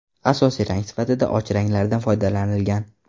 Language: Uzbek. Asosiy rang sifatida och ranglardan foydalanilgan.